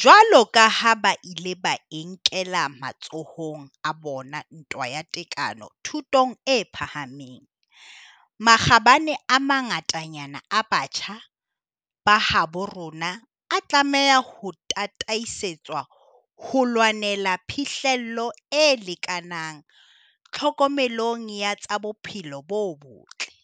Jwaloka ha ba ile ba e nkela matsohong a bona ntwa ya tekano thutong e phahameng, makgabane a mangatanyana a batjha ba habo rona a tlameha ho tataisetswa ho lwaneleng phihlello e lekanang tlhokomelong ya tsa bophelo bo botle,